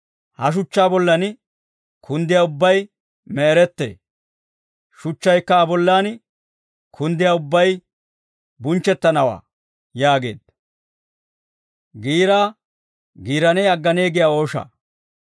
Ha shuchchaa bollan kunddiyaa ubbay me'erettee; shuchchaykka Aa bollan kunddiyaa ubbay bunchchettanawaa» yaageedda.